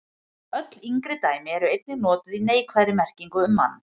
Öll yngri dæmi eru einnig notuð í neikvæðri merkingu um mann.